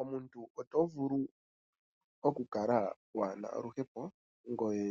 Omuntu oto vulu oku kala kuuna oluhepo ngoye